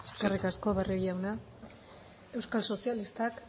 eskerrik asko barrio jauna euskal sozialistak